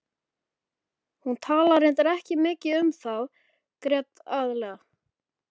Hún talaði reyndar ekki mikið þá heldur grét aðallega.